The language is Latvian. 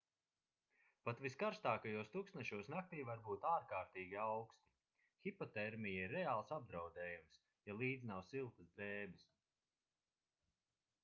pat viskarstākajos tuksnešos naktī var būt ārkārtīgi auksti hipotermija ir reāls apdraudējums ja līdzi nav siltas drēbes